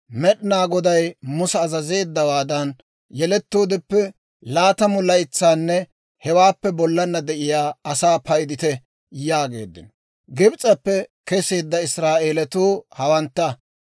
«Med'inaa Goday Musa azazeeddawaadan, yelettoodeppe laatamu laytsanne hewaappe bollana de'iyaa asaa paydite» yaageeddino. Gibs'eppe keseedda Israa'eelatuu hawantta: